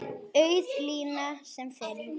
Auð lína sem fyrr.